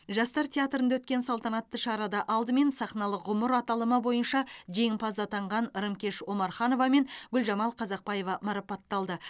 жастар театрында өткен салтанатты шарада алдымен сахналық ғұмыр аталымы бойынша жеңімпаз атанған рымкеш омарханова мен гүлжамал қазақбаева марапатталды